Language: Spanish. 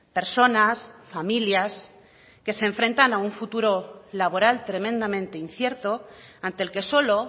personas familias que se enfrentan a un futuro laboral tremendamente incierto ante el que solo